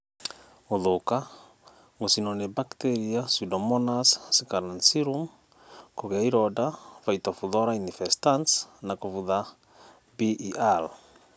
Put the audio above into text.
Gũthũka, gũcinwo nĩ bakteria(pseudomonas scalancearum),kũgĩa ironda(phytophthorainfestans) na kũbutha (BER)